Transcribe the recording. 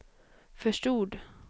förstod